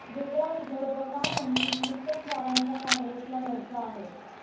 वेगळा विदर्भ का नाही?,मुत्तेमवारांचा काँग्रेसला घरचा अहेर